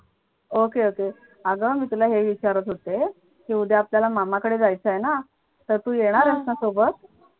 okay okay अग मी तुला हे विचारत होते. ते उद्या आपल्याला मामाकडे जायचं आहे ना तर तू येणार आहेस ना सोबत.